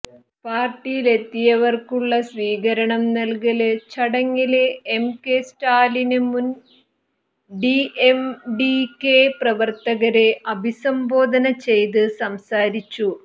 പാര്ട്ടിയിലെത്തിയവര്ക്കുള്ള സ്വീകരണം നല്കല് ചടങ്ങില് എം കെ സ്റ്റാലിന് മുന് ഡിഎംഡികെ പ്രവര്ത്തകരെ അഭിസംബോധന ചെയ്ത് സംസാരിച്ചു